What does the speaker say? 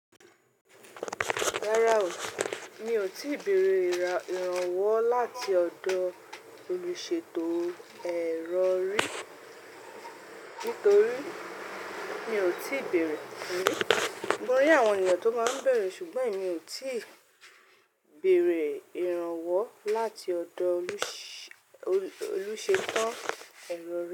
Rárá o, mi ò tíì bèrè ìrànwọ́ láti ọ̀dọ̀ olùṣètò ẹ̀rọ rí. Nítorí mi ò tíì bẹ̀erẹ̀ rí. Mo rí àwọn ènìyàn tó máa ń bẹ̀erẹ̀, ṣùgbọ́n emi ò tíì bẹ̀rẹ̀ ìrànwọ́ láti ọ̀dọ̀ olùṣètò ẹ̀rọ rí.